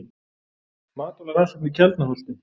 Matvælarannsóknir Keldnaholti.